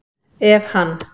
Ef hann